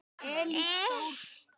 Tvö þeirra komu í höfn.